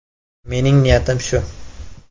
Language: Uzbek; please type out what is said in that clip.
Mening niyatim shu.